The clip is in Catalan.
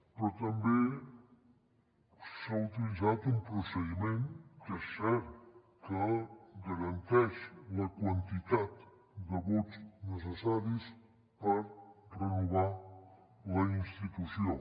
però també s’ha utilitzat un procediment que és cert que garanteix la quantitat de vots necessaris per renovar la institució